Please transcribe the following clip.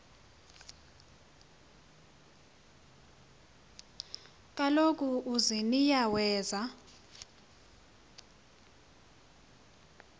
kaloku uziniya weza